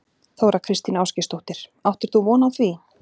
Þóra Kristín Ásgeirsdóttir: Áttir þú von á því?